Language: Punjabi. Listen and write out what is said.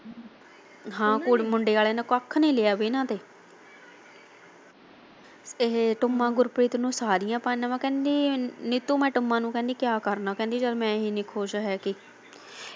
ਹਾਂ ਕੁੜ ਮੁੰਡੇ ਵਾਲਿਆ ਨੇ ਕੱਖ ਵੀ ਨਹੀਂ ਲਿਆ ਵਿਹਣਾ ਤੇ ਇਹ ਟੁੰਮਾਂ ਗੁਰਪ੍ਰੀਤ ਨੂੰ ਸਾਰੀਆ ਪਾ ਦੇਵਾ ਕਹਿੰਦੀ ਨੀਤੂ ਮੈਂ ਟੁੰਮਾਂ ਨੂੰ ਕਿਆ ਕਰਨਾ ਜਦ ਮੈਂ ਹੀ ਨੀ ਖੁਸ਼ ਹੈਗੀ।